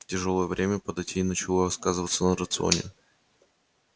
тяжёлое время податей начало сказываться на рационе